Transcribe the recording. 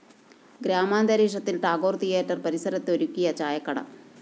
ഗ്രാമാന്തരീക്ഷത്തില്‍ Tagore‍ theatre പരിസരത്ത് ഒരുക്കിയ ചായക്കട